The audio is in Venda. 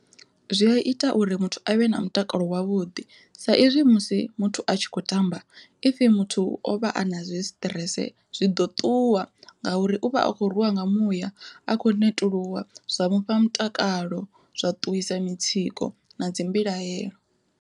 Zwi a ita uri muthu a vhe na mutakalo wavhuḓi saizwi musi muthu a tshi kho tamba if muthu o vha a na zwi stress zwi ḓo ṱuwa ngauri u vha a khou rwiwa nga muya a kho netuluwa zwa mufha mutakalo zwa ṱuwisa mitsiko na dzi mbilahelo.